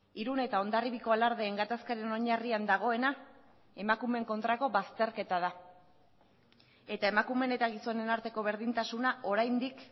irun eta hondarribiako alardeen gatazkaren oinarrian dagoena emakumeen kontrako bazterketa da eta emakumeen eta gizonen arteko berdintasuna oraindik